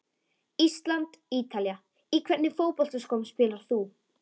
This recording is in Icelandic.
ísland- ítalía Í hvernig fótboltaskóm spilar þú?